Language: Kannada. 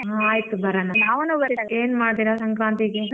ಹಾ ಆಯ್ತು ಬರೋಣ ಏನ್ ಮಾಡ್ತೀರಾ ಸಂಕ್ರಾಂತಿಗೆ.